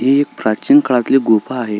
ही एक प्राचीन काळातली गुफा आहे.